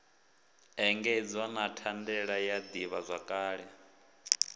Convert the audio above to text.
engedzwa na thandela ya ḓivhazwakale